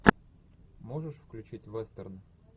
можешь включить вестерн